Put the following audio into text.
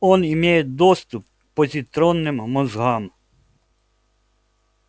он имеет доступ к позитронным мозгам